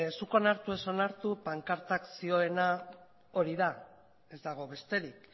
zuk onartu ez onartu pankartak zioena hori da ez dago besterik